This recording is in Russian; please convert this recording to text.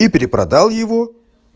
и перепродал его